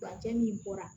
Furancɛ min bɔra